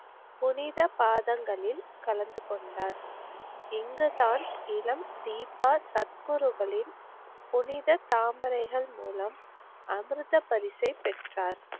புனித பாதங்களில் கலந்துகொண்டார். இங்குதான் இளம் தீபா சத்குருகளின் புனித தாமரைகள் மூலம் அமிர்த பரிசைப் பெற்றார்.